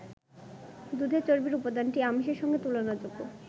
দুধের চর্বির উপাদানটি আমিষের সঙ্গে তুলনাযোগ্য।